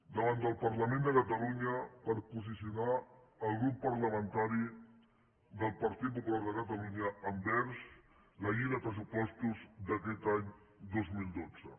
davant del parlament de catalunya per posicionar el grup parlamentari del partit popular de catalunya envers la llei de pressupostos d’aquest any dos mil dotze